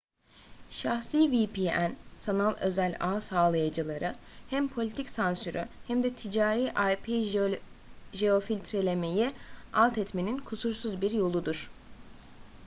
şahsi vpn sanal özel ağ sağlayıcıları hem politik sansürü hem de ticari ip-jeofiltrelemeyi altetmenin kusursuz bir yoludur